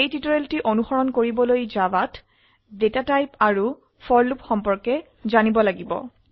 এই টিউটোৰিয়ালটি অনুসৰন কৰিবলৈ জাভাত ডেটা টাইপ আৰু ফৰ লুপ সম্পৰ্কে জানিব লাগিব